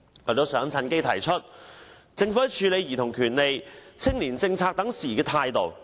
我亦想趁機提出政府處理兒童權利和青年政策等事宜的態度。